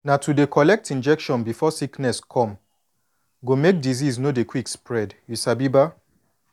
na to dey collect injection before sickness come go make disease no dey quick spread you sabi ba